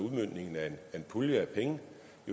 at kunne være en